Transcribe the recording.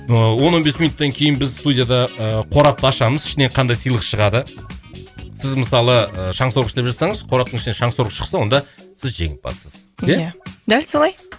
ыыы он он бес минуттан кейін біз студияда ыыы қорапты ашамыз ішінен қандай сыйлық шығады сіз мысалы ы шаңсорғыш деп жазсаңыз қораптың ішінен шаңсорғыш шықса онда сіз жеңімпазсыз иә дәл солай